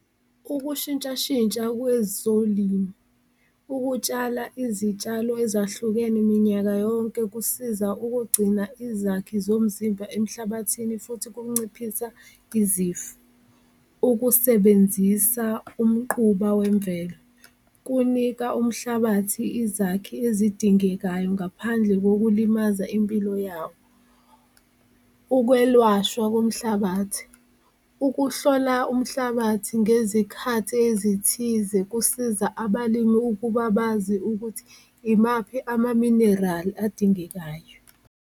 Ukushintshashintsha kwezolimo, ukutshala izitshalo ezahlukene minyaka yonke kusiza ukugcina izakhi zomzimba emhlabathini futhi kunciphisa izifo, ukusebenzisa umquba wemvelo kunika umhlabathi izakhi ezidingekayo ngaphandle ngokulimazana impilo yawo. Ukwelwashwa komhlabathi, ukuhlola umhlabathi ngezikhathi ezithize kusiza abalimu ukuba bazi ukuthi imaphi amaminerali adingekayo.